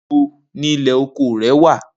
Nibo ni ilẹ oko rẹ wa?